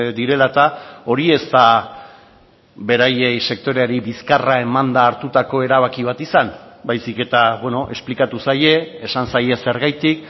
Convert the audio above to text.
direla eta hori ez da beraiei sektoreari bizkarra emanda hartutako erabaki bat izan baizik eta esplikatu zaie esan zaie zergatik